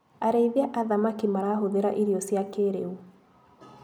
Arĩithia a thamaki marahũthĩra irio cia kĩrĩu.